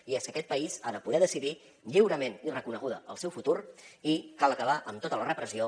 i és que aquest país ha de poder decidir lliurement i reconeguda el seu futur i cal acabar amb tota la repressió